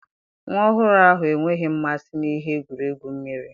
Nwa ọhụrụ ahụ enweghị mmasị na ihe egwuregwu mmiri.